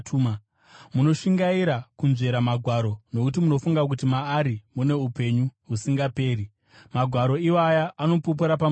Munoshingaira kunzvera magwaro nokuti munofunga kuti maari mune upenyu husingaperi. Magwaro iwaya anopupura pamusoro pangu,